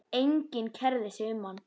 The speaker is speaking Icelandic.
Enginn kærði sig um hann.